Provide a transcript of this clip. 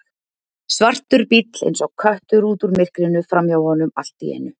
Svartur bíll eins og köttur út úr myrkrinu framhjá honum allt í einu.